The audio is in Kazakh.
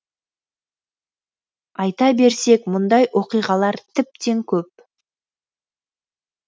айта берсек мұндай оқиғалар тіптен көп